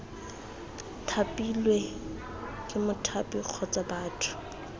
thapilwe ke mothapi kgotsa batho